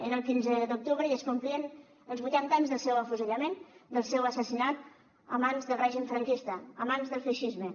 era el quinze d’octubre i es complien els vuitanta anys del seu afusellament del seu assassinat a mans del règim franquista a mans del feixisme